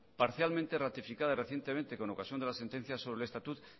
parcialmente ratificada recientemente con ocasión de la sentencia sobre el estatuto